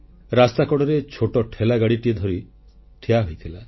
ରାସ୍ତାକଡ଼ରେ ଛୋଟ ଠେଲାଗାଡ଼ିଟିଏ ଧରି ଠିଆ ହୋଇଥିଲା